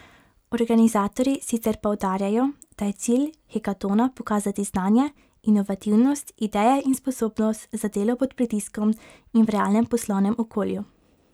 Organizatorji sicer poudarjajo, da je cilj hekatona pokazati znanje, inovativnost, ideje in sposobnost za delo pod pritiskom in v realnem poslovnem okolju.